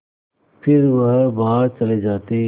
फिर वह बाहर चले जाते